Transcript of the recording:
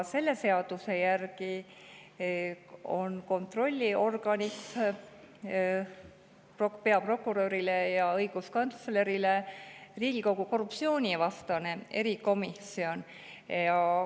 Selle seaduse järgi on kontrollorgan peaprokuröri ja õiguskantsleri puhul Riigikogu korruptsioonivastane erikomisjon.